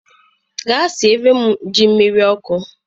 Gaa siere m ji miri oku